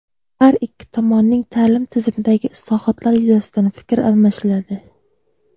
har ikki tomonning ta’lim tizimidagi islohotlar yuzasidan fikr almashiladi.